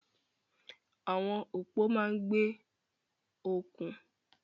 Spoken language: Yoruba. Àwọn òpó máa ń gbé okùn.